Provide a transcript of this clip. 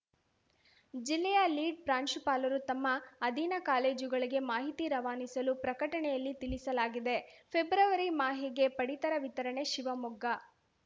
ಜಿಲ್ಲೆಯ ಲೀಡ್‌ ಪ್ರಾಂಶುಪಾಲರು ತಮ್ಮ ಅಧೀನ ಕಾಲೇಜುಗಳಿಗೆ ಮಾಹಿತಿ ರವಾನಿಸಲು ಪ್ರಕಟಣೆಯಲ್ಲಿ ತಿಳಿಸಲಾಗಿದೆ ಫೆಬ್ರವರಿ ಮಾಹೆಗೆ ಪಡಿತರ ವಿತರಣೆ ಶಿವಮೊಗ್ಗ